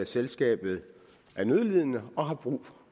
selskabet er nødlidende og har brug